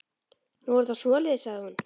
Nú, er það svoleiðis, sagði hún.